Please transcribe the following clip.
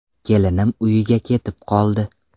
Kelinim uyiga ketib qoldi.